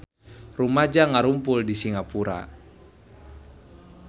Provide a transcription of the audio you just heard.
Rumaja ngarumpul di Singapura